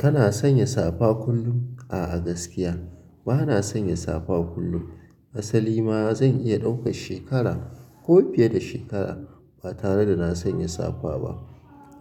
Kana sanya safa kullum? A'a gaskiya bana sanya safa kullum. Asali ma zan iya ɗaukan shekara ko fiye da shekara ba tare da na sanya safa ba.